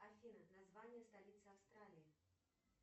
афина название столицы австралии